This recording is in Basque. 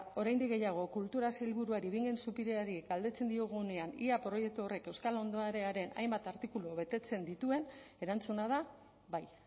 oraindik gehiago kultura sailburuari bingen zupiriari galdetzen diogunean ea proiektu horrek euskal ondarearen hainbat artikulu betetzen dituen erantzuna da bai